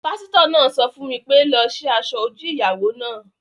Pásítọ̀ náà sọ fún mi pé "lọ sí asọ-ojú ìyàwó náà!"